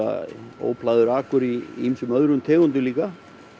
óplægður akur í ýmsum öðrum tegundum líka